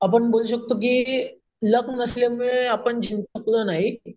आपण म्हणू शकतो कि लक नसल्याने आपण जिंकलो नाही.